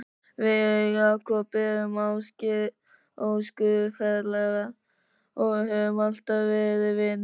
Við Jakob erum æskufélagar og höfum alltaf verið vinir.